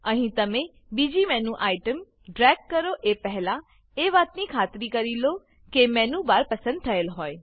અહીં તમે બીજી મેનુ આઇટમ ડ્રેગ કરો એ પહેલા એ વાતની ખાતરી કરી લો કે મેનુ બાર પસંદ થયેલ હોય